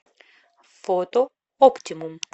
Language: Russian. фото оптимум